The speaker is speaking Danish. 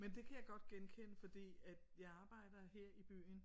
Men det kan jeg godt genkende fordi at jeg arbejder her i byen